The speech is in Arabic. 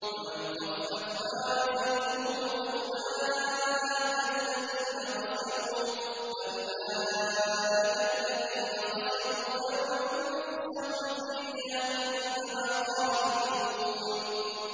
وَمَنْ خَفَّتْ مَوَازِينُهُ فَأُولَٰئِكَ الَّذِينَ خَسِرُوا أَنفُسَهُمْ فِي جَهَنَّمَ خَالِدُونَ